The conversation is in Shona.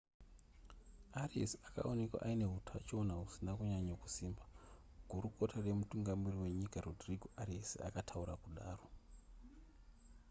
arias akaonekwa aine hutachiona husina kunyanya kusimba gurukota remutungamiriri wenyika rodrigo arias akataura kudaro